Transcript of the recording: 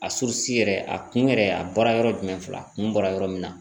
A yɛrɛ a kun yɛrɛ a bɔra yɔrɔ jumɛn fila a kun bɔra yɔrɔ min na